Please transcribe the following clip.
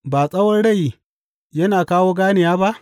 Ba tsawon rai yana kawo ganewa ba?